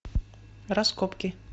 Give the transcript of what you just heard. раскопки